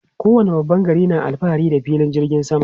Kowane babban gari na alfahari da filin jirgin sama.